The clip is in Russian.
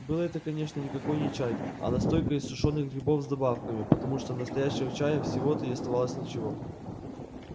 был это конечно никакой не чай а настойка из сушёных грибов с добавками потому что настоящего чая всего-то и оставалось ничего